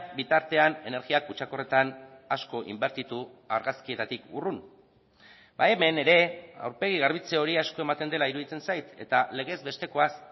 bitartean energia kutsakorretan asko inbertitu argazkietatik urrun hemen ere aurpegi garbitze hori asko ematen dela iruditzen zait eta legez bestekoaz